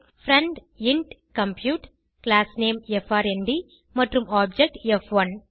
friend int compute class name FRND மற்றும் object ப்1